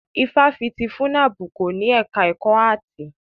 Ifáfitì FUNAB kò ní ẹka ẹ̀kọ́ áàtì.